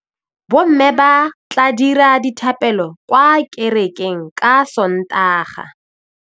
Bommê ba tla dira dithapêlô kwa kerekeng ka Sontaga.